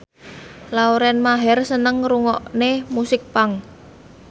Lauren Maher seneng ngrungokne musik punk